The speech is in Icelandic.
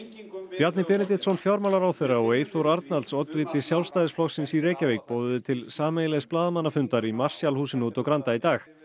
Bjarni Benediktsson fjármálaráðherra og Eyþór Arnalds oddviti Sjálfstæðisflokksins í Reykjavík boðuðu til sameiginlegs blaðamannafundar í Marshall húsinu úti á Granda í dag